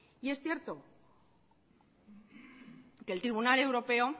y es cierto que el tribunal europeo